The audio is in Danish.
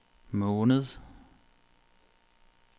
måned